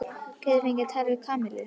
Get ég fengið að tala við Kamillu?